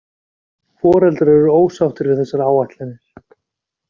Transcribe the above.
Foreldrar eru ósáttir við þessar áætlanir